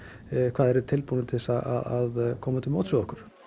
hvað þeir eru tilbúnir til þess að koma til móts við okkur